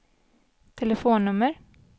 telefonnummer